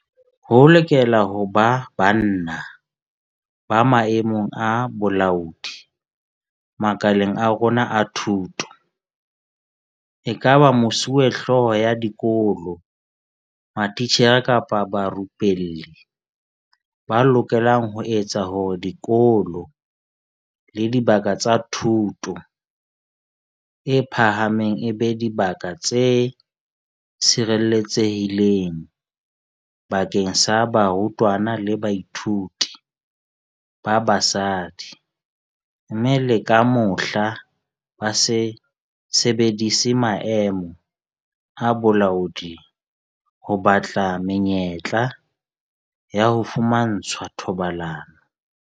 Ho lokela ho ba banna ba maemong a bolaodi makaleng a rona a thuto, ekaba mesuwehlooho ya dikolo, matitjhere kapa barupelli, ba lokelang ho etsa hore dikolo le dibaka tsa thuto e phahameng e be dibaka tse sireletsehileng bakeng sa barutwana le bathuiti ba basadi, mme le ka mohla, ba se sebedise maemo a bolaodi ho batla menyetla ya ho fumantshwa thobalano.